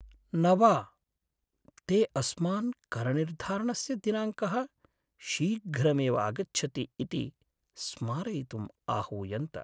न वा! ते अस्मान् करनिर्धारणस्य दिनाङ्कः शीघ्रमेव आगच्छति इति स्मारयितुम् आहूयन्त।